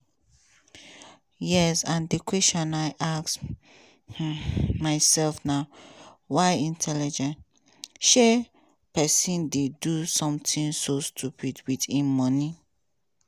yes and di question i ask um myself na: why intelligent um person dey do something so stupid wit im money?